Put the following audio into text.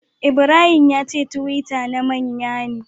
Ibrahim yace twitter na manyan.